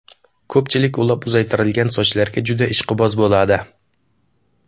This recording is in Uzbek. Ko‘pchilik ulab uzaytirilgan sochlarga juda ishqiboz bo‘ladi.